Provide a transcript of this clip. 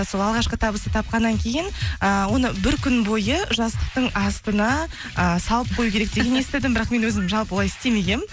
сол алғашқы табысты тапқаннан кейін ііі оны бір күн бойы жастықтың астына ы салып қою керек дегенді естідім бірақ мен өзім жалпы олай